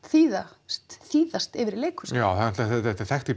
þýðast þýðast yfir í leikhús já því þetta er þekkt í